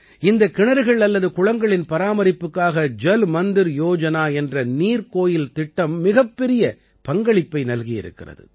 இந்தக் கிணறுகள் அல்லது குளங்களின் பராமரிப்புக்காக ஜல் மந்திர் யோஜனா என்ற நீர்க்கோயில் திட்டம் மிகப்பெரிய பங்களிப்பை நல்கியிருக்கிறது